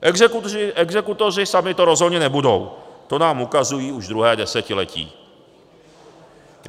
Exekutoři sami to rozhodně nebudou, to nám ukazují už druhé desetiletí.